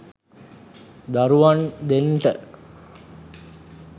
දරුවන් දෙන්ට.